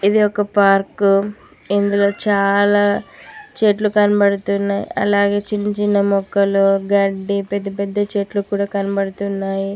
ఇది ఒక పార్క్ ఇందులో చాలా చెట్లు కనపడుతున్నాయి అలాగే చిన్న చిన్న మొక్కలు గడ్డి పెద్దపెద్ద చెట్లు కూడా కనబడుతున్నాయి.